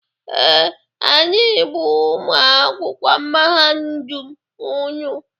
Ee, anyị bụ ụmụ akwụkwọ mahadum unu.